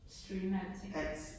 Streame alting